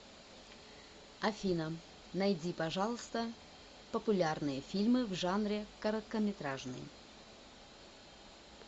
афина найди пожалуйста популярные фильмы в жанре короткометражный